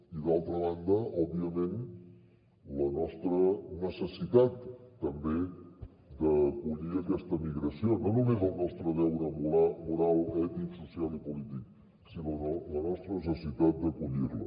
i d’altra banda òbviament la nostra necessitat també d’acollir aquesta migració no només el nostre deure moral ètic social i polític sinó la nostra necessitat d’acollir la